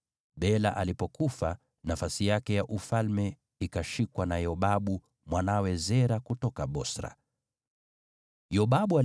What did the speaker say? Bela alipofariki, Yobabu mwana wa Zera kutoka Bosra akawa mfalme baada yake.